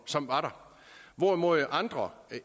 som var der hvorimod andre